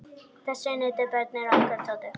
Þess nutu börnin okkar Tótu.